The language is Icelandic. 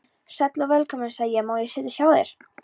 Sæll og velkominn, sagði ég, má ég setjast hjá þér.